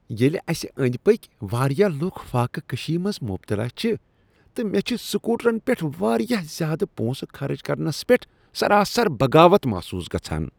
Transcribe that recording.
ییلِہ اسہ أندۍ پٔکۍ واریاہ لُکھ فاقہٕ کشی منٛز مبتلا چھ تہٕ مےٚ چھ سکوٹرن پیٹھ واریاہ زیادٕ پونسہٕ خرچ کرنس پیٹھ سراسر بغاوت محسوس گژھان ۔